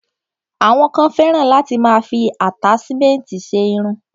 Àwọn kan fẹ́ràn láti máa fi àtáṣmẹ̀ntì ṣe irun.